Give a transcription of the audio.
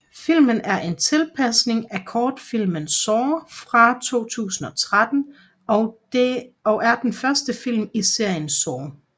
Filmen er en tilpasning af kortfilm Saw fra 2003 og er den første film i serien Saw